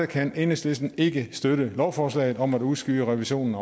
kan enhedslisten ikke støtte lovforslaget om at udskyde revisionen